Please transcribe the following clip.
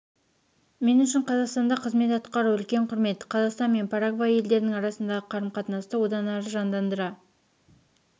мен үшін қазақстанда қызмет атқару үлкен құрмет қазақстан мен парагвай елдерінің арасындағы қарым-қатынасты одан әрі жандарыра